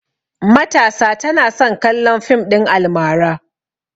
Matasa tana son kallon fim ɗin almara